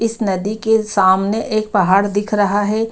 इस नदी के सामने एक पहाड़ दिख रहा है।